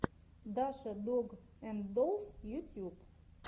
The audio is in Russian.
даша дог энд доллс ютьюб